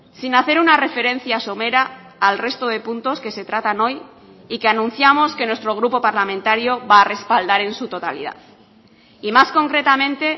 sin hacer una referencia somera al resto de puntos que se tratan hoy y que anunciamos que nuestro grupo parlamentario va a respaldar en su totalidad y más concretamente